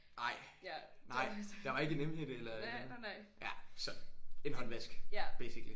Ej nej der var ikke en emhætte eller et eller andet? Ja så en håndvask basically